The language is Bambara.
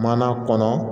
Mana kɔnɔ